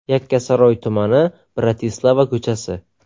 Yakkasaroy tumani, Bratislava ko‘chasi.